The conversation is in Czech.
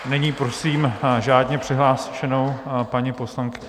Nyní prosím řádně přihlášenou paní poslankyni...